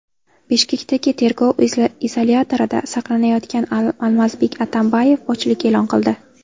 Bishkekdagi tergov izolyatorida saqlanayotgan Almazbek Atambayev ochlik e’lon qildi.